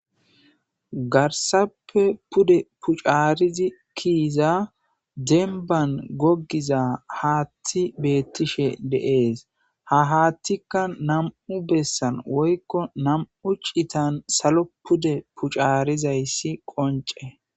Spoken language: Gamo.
garsappe pude pucaarizi kiyiza denban gogiza haatthi beettishe dee'es ha haattikka nam'u bessan woykko nam'u citan salo pude pucaarizayssi qonce